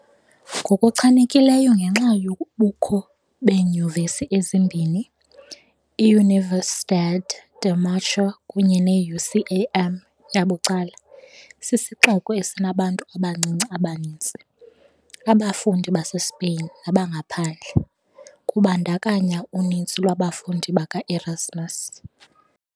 Ngokuchanekileyo ngenxa yobukho beeyunivesithi ezimbini, i-Universidad de Murcia kunye ne-UCAM, yabucala, sisixeko esinabantu abancinci abaninzi, abafundi baseSpain nabangaphandle, kubandakanya uninzi lwabafundi baka-Erasmus .